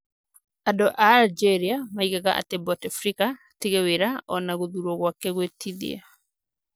Andũ a Algeria moigaga atĩ Bouteflika atige wira o na gũthurwo gwake gwũtithia